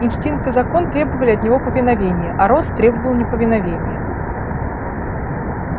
инстинкт и закон требовали от него повиновения а рост требовал неповиновения